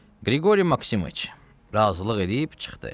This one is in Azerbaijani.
Qriqoriy Maksimoviç razılıq eləyib çıxdı.